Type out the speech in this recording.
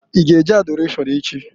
I g' e je Adọrashọn echi?